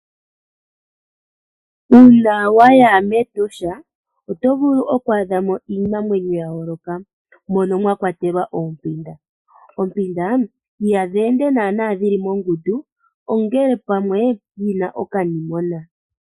Uuna waya mEtosha oto vulu okwaadha mo iinamwenyo ya yooloka. Mono mwa kwatelwa oompinda. Oompinda ihadhi ende naana na dhili mongundu ongele pamwe yina okanimona.